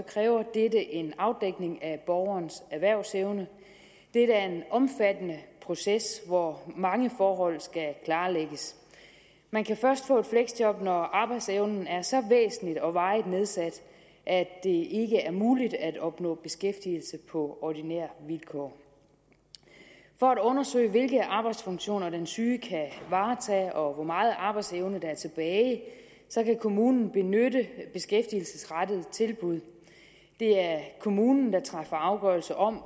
kræver dette en afdækning af borgerens erhvervsevne dette er en omfattende proces hvor mange forhold skal klarlægges man kan først få et fleksjob når arbejdsevnen er så væsentligt og varigt nedsat at det ikke er muligt at opnå beskæftigelse på ordinære vilkår for at undersøge hvilke arbejdsfunktioner den syge kan varetage og hvor meget arbejdsevne der er tilbage kan kommunen benytte beskæftigelsesrettede tilbud det er kommunen der træffer afgørelse om